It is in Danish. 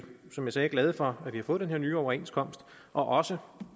som jeg sagde glade for at vi har fået den her nye overenskomst og også